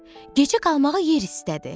Gecə qalmağa yer istədi.